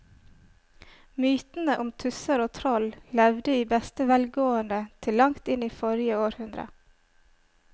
Mytene om tusser og troll levde i beste velgående til langt inn i forrige århundre.